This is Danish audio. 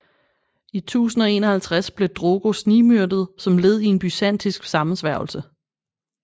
I 1051 blev Drogo snigmyrdet som led i en byzantinsk sammensværgelse